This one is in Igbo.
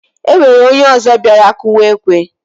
Enwere onye ozo biara kụwa ekwe